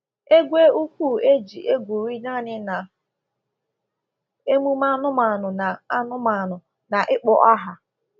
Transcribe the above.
Egwe ukwu e ji egwuri naanị na emume anụmanụ na anụmanụ na ịkpọ aha.